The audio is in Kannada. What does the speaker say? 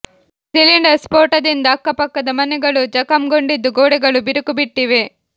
ಸಿಲಿಂಡರ್ ಸ್ಫೋಟದಿಂದ ಅಕ್ಕ ಪಕ್ಕದ ಮನೆಗಳೂ ಜಖಂಗೊಂಡಿದ್ದು ಗೋಡೆಗಳು ಬಿರುಕು ಬಿಟ್ಟಿವೆ